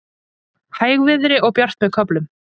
Hægviðri og bjart með köflum